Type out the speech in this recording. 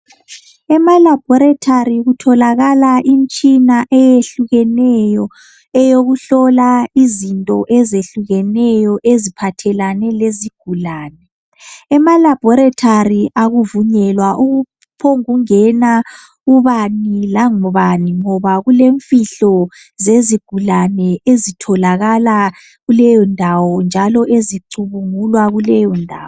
Emalaboritari kutholakala imitshina eyehlukeneyo eyokuhlola izinto ezehlukeneyo eziphathelane lezigulane. Emalabhorathori akuvunyelwa ukuphombuku ngena ubani lobanu ngoba kulemfihlo zezigulane ezitholakala kuleyondawo njalo ezicubungulwa kuleyo ndawo.